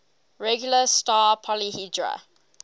regular star polyhedra